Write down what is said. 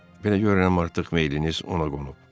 Belə görünür artıq meyliniz ona qonub.